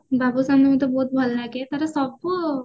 ବାବୁସାନ ମତେ ଭଲ ଲାଗେ ତାର ସବୁ